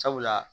Sabula